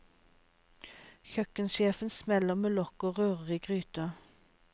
Kjøkkensjefen smeller med lokk og rører i gryter.